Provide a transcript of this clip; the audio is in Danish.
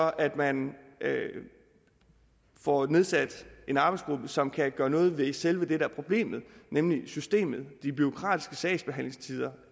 at man får nedsat en arbejdsgruppe som kan gøre noget ved selve det der er problemet nemlig systemet de bureaukratiske sagsbehandlingstider